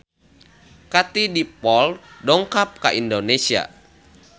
Katie Dippold dongkap ka Indonesia